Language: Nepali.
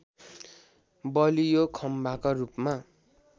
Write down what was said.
बलियो खम्बाका रूपमा